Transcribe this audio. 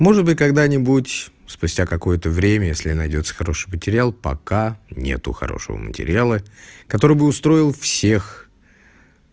может быть когда-нибудь спустя какое-то время если найдётся хороший материал пока нет хорошего материала который бы устроил всех